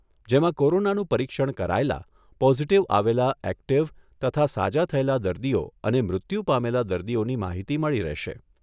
જેમાં કોરોનાનું પરીક્ષણ કરાયેલા, પોઝિટિવ આવેલા એક્ટીવ તથા સાજા થયેલા દર્દીઓ અને મૃત્યુ પામેલા દર્દીઓની માહિતી મળી રહેશે.